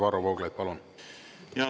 Varro Vooglaid, palun!